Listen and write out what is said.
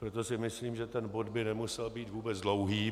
Proto si myslím, že ten bod by nemusel být vůbec dlouhý.